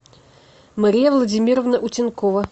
мария владимировна утенкова